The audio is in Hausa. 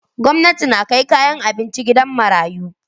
Gwamnati na kai kayan abinci gidan marayu.